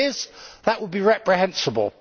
If it is, that will be reprehensible.